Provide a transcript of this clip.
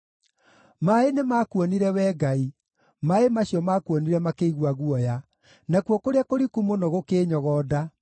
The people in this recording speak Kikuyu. Maaĩ nĩmakuonire, Wee Ngai, maaĩ macio maakuonire makĩigua guoya, nakuo kũrĩa kũriku mũno gũkĩĩnyogonda.